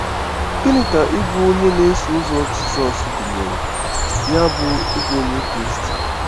Gịnị ka ịbụ onye na-eso ụzọ Jizọs gụnyere, ya bụ, ịbụ Onye Kraịst?